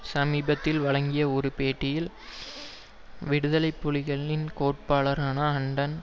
சமீபத்தில் வழங்கிய ஒரு பேட்டியில் விடுதலை புலிகளின் கோட்பாட்டாளரான அன்டன்